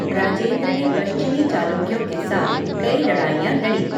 राजेंद्र ने पश्चिमी चालुक्यों के साथ कई लड़ाईयाँ लड़ी।